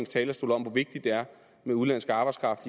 talerstol om hvor vigtigt det er med udenlandsk arbejdskraft